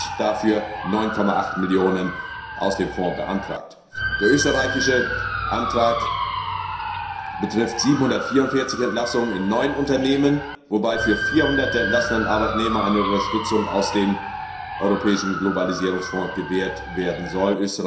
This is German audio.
Schweden hat dafür 9,8 Millionen aus dem Fonds beantragt. Der österreichische Antrag betrifft 744 Entlassungen in neun Unternehmen, wobei für 400 der entlassenen Arbeitnehmer eine Unterstützung aus dem Europäischen Globalisierungsfonds gewährt werden soll.